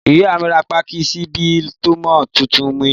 Ìyá mi rà pàkí ṣíbì tọmọ títùn mi.